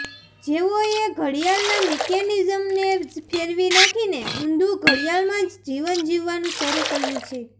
જેઓએ ઘડીયાળના મિકેનિઝમને જ ફેરવી નાખીને ઉંધુ ઘડીયાળમાં જ જીવન જીવવાનું શરૂ કર્યુ છે